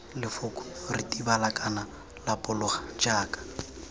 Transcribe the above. lefoko ritibala kana lapologa jaka